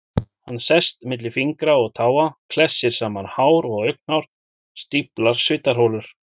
Hann sest milli fingra og táa, klessir saman hár og augnhár, stíflar svitaholur.